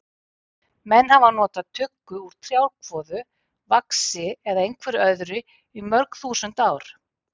Menn hafa nota tuggu úr trjákvoðu, vaxi eða einhverju öðru í mörg þúsund ár.